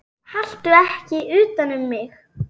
Haltu ekki utan um mig.